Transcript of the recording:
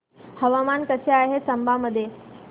हवामान कसे आहे चंबा मध्ये